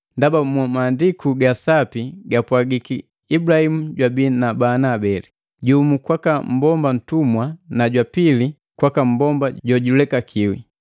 Ndaba mu Maandiku gaka Sapanga gapwagiki Ibulahimu jwabii na bana abeli. Jumu kwaka mmbomba ntumwa na jwa pili kwaka mmbomba jojulekakiwi.